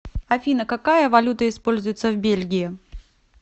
афина какая валюта используется в бельгии